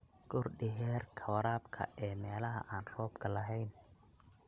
Kordhi heerka waraabka ee meelaha aan roobka lahayn.